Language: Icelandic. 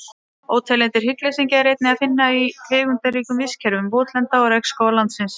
Óteljandi hryggleysingja er einnig að finna í tegundaríkum vistkerfum votlenda og regnskóga landsins.